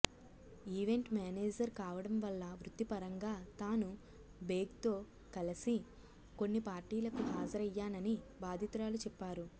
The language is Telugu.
ఈవెంట్ మేనేజర్ కావడం వల్ల వృత్తిపరంగా తాను బేగ్ తో కలిసి కొన్ని పార్టీలకు హాజరయ్యానని బాధితురాలు చెప్పారు